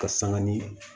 Ka sanga ni